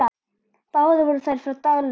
Báðar voru þær frá Dalvík.